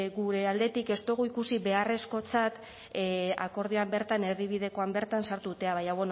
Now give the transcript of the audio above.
gure aldetik ez dugu ikusi beharrezkotzat akordioan bertan erdibidekoan bertan sartzea baina